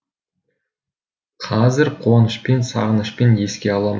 қазір қуанышпен сағынышпен еске аламыз